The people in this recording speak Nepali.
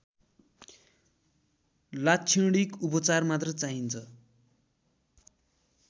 लाक्षणिक उपचार मात्र चाहिन्छ